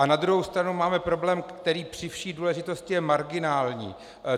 A na druhou stranu máme problém, který při vší důležitosti je marginální.